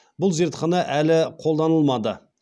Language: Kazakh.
бұл зертхана әлі қолданылмады